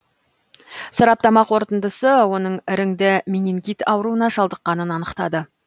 сараптама қорытындысы оның іріңді менингит ауруына шалдыққанын анықтады